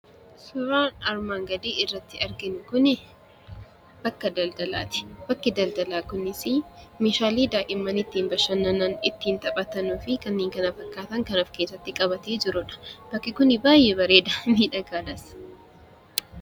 Suuraan armaan gadii irratti arginu kuni bakka daldalaa ti. Bakki daldalaa kunisii meeshaalee daa'imman ittiin bashannanan, ittiin taphatanii fi kanneen kana fakkaatan kan of keessatti qabatee jiruu dha. Bakki kun baay'ee bareeda; miidhagaadhas.